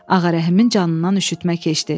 Ağarəhimin canından üşütmə keçdi.